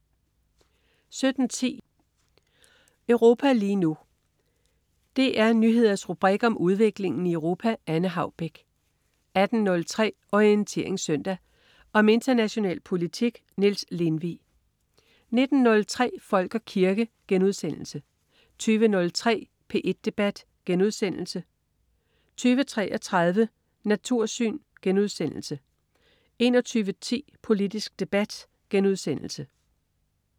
17.10 Europa lige nu. DR Nyheders rubrik om udviklingen i Europa. Anne Haubek 18.03 Orientering Søndag. Om international politik. Niels Lindvig 19.03 Folk og kirke* 20.03 P1 Debat* 20.33 Natursyn* 21.10 Politisk debat*